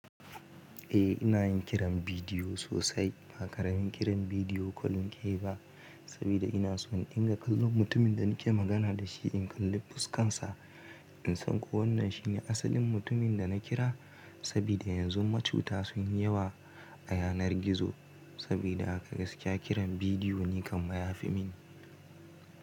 Eh ina yin kiran bidiyo sosai. Ba karamin kiran bidiyo kul nakeyi ba, saboda ina so in inga kallon mutumin da nake magana da shi, in kalli fuskan sa, in san ko wannan shine asalin mutumin da na kira. Saboda yanzu macuta sun yi yawa a yanar gizo. Sabida haka gaskiya kiran bidiyo ni kamma ya fi mini.